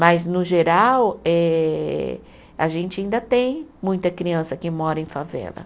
Mas, no geral, eh a gente ainda tem muita criança que mora em favela.